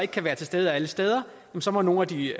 kan være til stede alle steder så må nogle af de